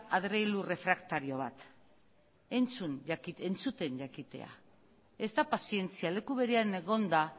adreilu refraktario bat entzuten jakitea ez da pazientzia leku berean egonda